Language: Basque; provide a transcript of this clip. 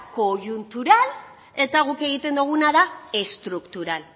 koiuntural eta guk egiten duguna da estruktural